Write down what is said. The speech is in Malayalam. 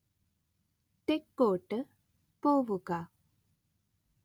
തെക്കോട്ട് പോവുക